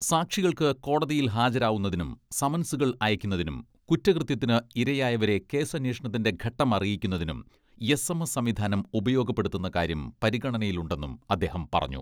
സാക്ഷികൾക്ക് കോടതിയിൽ ഹാജരാവുന്നതിനും സമൻസുകൾ അയയ്ക്കുന്നതിനും കുറ്റകൃത്യത്തിന് ഇരയായവരെ കേസന്വേഷണത്തിന്റെ ഘട്ടം അറിയിക്കുന്നതിനും എസ് എം എസ് സംവിധാനം ഉപയോഗപ്പെടുത്തുന്ന കാര്യം പരിഗണനയിലുണ്ടെന്നും അദ്ദേഹം പറഞ്ഞു.